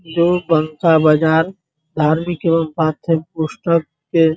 जो बांका बाजार धार्मिक एवं पाठ्य पुस्तक के --